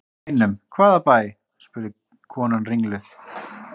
Bænum, hvaða bæ? spurði konan ringluð.